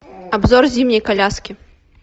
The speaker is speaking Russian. обзор зимней коляски